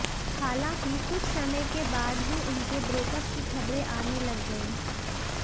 हालांकि कुछ समय के बाद ही उनके ब्रेकअप की खबरें आने लग गईं